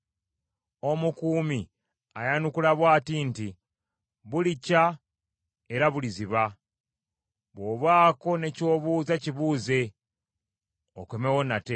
Omukuumi ayanukula bw’ati nti, “Bulikya, era buliziba. Bw’obaako ne ky’obuuza kibuuze okomewo nate.”